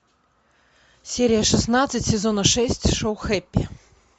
серия шестнадцать сезона шесть шоу хэппи